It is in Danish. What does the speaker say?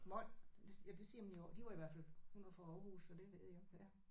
Mol ja det siger man i de var i hvert fald hun var fra Aarhus så det ved jeg ja